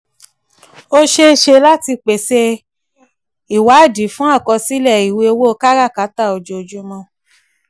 ó ṣe é ṣe láti pèsè ìwádìí fún àkọsílẹ̀ ìwé ìwé owó káràkátà ojoojúmọ́.